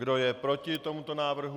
Kdo je proti tomuto návrhu?